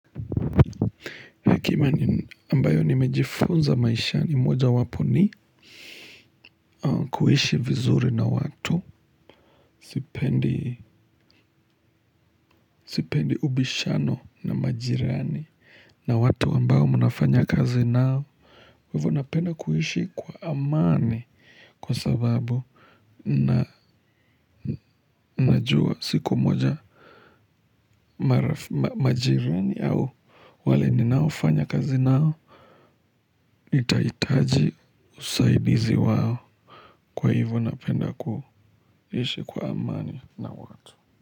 Hekima ambayo nimejifunza maishani mojawapo ni kuishi vizuri na watu. Sipendi ubishano na majirani. Na watu ambao mnafanya kazi nao ivo napenda kuhishi kwa amani. Kwa sababu najua siku moja. Majirani au wale ninaofanya kazi nao nitaitaji usaidizi wao. Kwa ivo napenda kuishi kwa amani na watu.